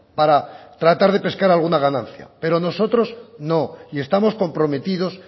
para tratar de pescar alguna ganancia pero nosotros no y estamos comprometidos